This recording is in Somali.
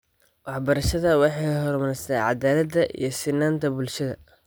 Waxbarashadu waxay horumarisaa cadaalada iyo sinaanta bulshada.